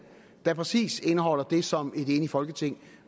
der præcis indeholder det som et enigt folketing